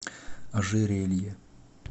ожерелье